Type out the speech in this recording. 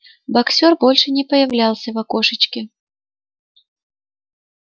боксёр больше не появлялся в окошечке